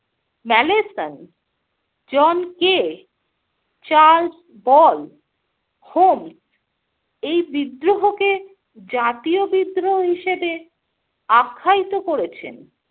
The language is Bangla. Malleson, John Kaye, Charles Ball, Holmes এই বিদ্রোহকে জাতীয় বিদ্রোহ হিসাবে আখ্যায়িত করেছেন।